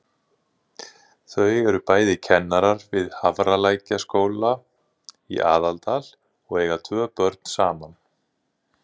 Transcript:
Þau eru bæði kennarar við Hafralækjarskóla í Aðaldal og eiga tvö börn saman.